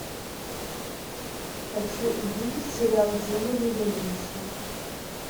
хочу увидеть сериал демоны да винчи